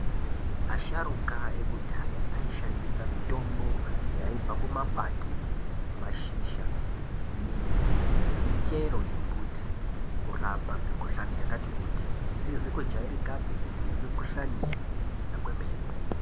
Asharuka ekudhaya aishandisa mitombo yaibva kumakwati, mashizha, midzi nemichero yembuti kurapa mikuhlani yakati kuti. Isizi kujairikapi nemikuhlani yakajairika kwemene.